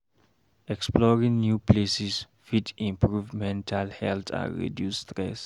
Exploring new places fit improve mental health and reduce stress.